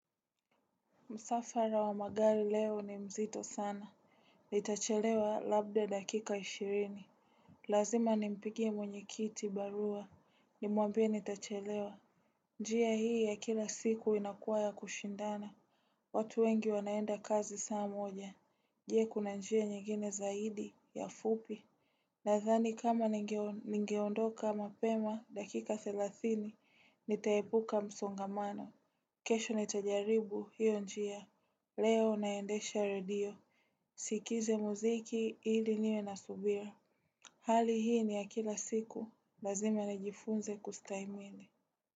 Msafara wa magari leo ni mzito sana. Nitachelewa labda dakika ishirini. Lazima nimpigie mwenye kiti barua. Nimwambie nitachelewa. Njia hii ya kila siku inakuwa ya kushindana. Watu wengi wanaenda kazi saa moja. Je, kuna njia nyingine zaidi ya fupi. Nadhani kama ningeondoka mapema dakika thelathini. Nitaepuka msongamano. Kesho nitajaribu hiyo njia. Leo naendesha redio, sikize muziki hili niwe nasubira. Hali hii ni ya kila siku, lazim na jifunze kustahimili.